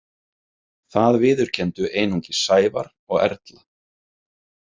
Það viðurkenndu einungis Sævar og Erla.